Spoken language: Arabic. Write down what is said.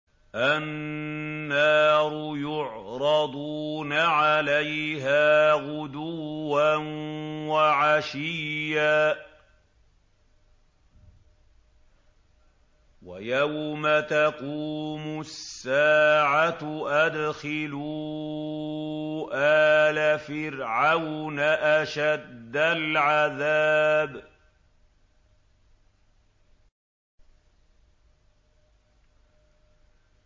النَّارُ يُعْرَضُونَ عَلَيْهَا غُدُوًّا وَعَشِيًّا ۖ وَيَوْمَ تَقُومُ السَّاعَةُ أَدْخِلُوا آلَ فِرْعَوْنَ أَشَدَّ الْعَذَابِ